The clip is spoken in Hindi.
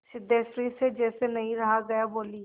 सिद्धेश्वरी से जैसे नहीं रहा गया बोली